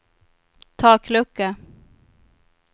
taklucka